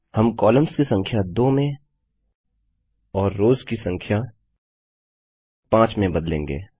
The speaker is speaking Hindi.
हम कॉलम्स की संख्या 2 में और रोव्स की संख्या 5 में बदलेंगे